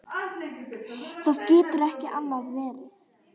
Það getur ekki annað verið.